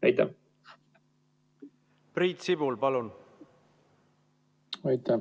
Priit Sibul, palun!